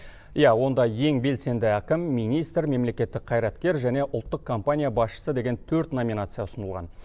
иә онда ең белсенді әкім министр мемлекеттік қайраткер және ұлттық компания басшысы деген төрт номинация ұсынылған